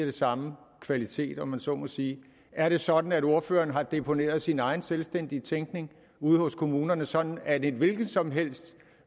af samme kvalitet om man så må sige er det sådan at ordføreren har deponeret sin egen selvstændige tænkning ude hos kommunerne sådan at et hvilket som helst